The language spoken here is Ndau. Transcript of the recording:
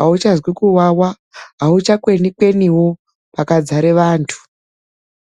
auchazwi kwawawa, auchakweni kweniwo pakadzara vandu.